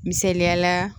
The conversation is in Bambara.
Misaliyala